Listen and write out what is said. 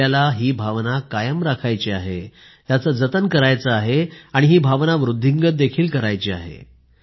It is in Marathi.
आपल्याला ही भावना कायम राखायची आहे त्याचे जतन करायचे आहे आणि ही भावना वृद्धिंगत देखील करायची आहे